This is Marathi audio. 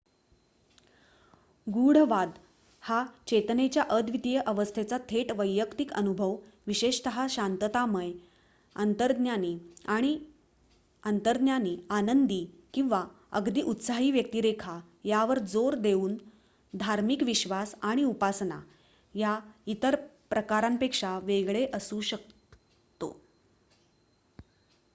गूढवाद हा चेतनेच्या अद्वितीय अवस्थेचा थेट वैयक्तिक अनुभव विशेषतः शांततामय अंतर्ज्ञानी आनंदी किंवा अगदी उत्साही व्यक्तिरेखा यावर जोर देऊन धार्मिक विश्वास आणि उपासना या इतर प्रकारांपेक्षा वेगळे असू शकतो